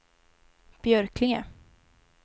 Björklinge